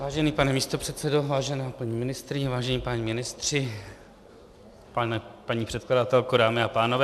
Vážený pane místopředsedo, vážená paní ministryně, vážení páni ministři, paní předkladatelko, dámy a pánové.